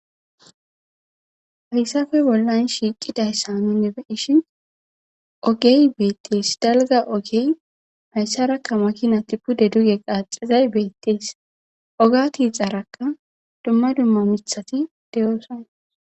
hayssafe bollan shiiqidayssa nuni beishin ogey beettees dalga ogey hayssarakka makinati pude duge qaaxizay beettees oga tiixarakka dumma dumma mithati deyoosan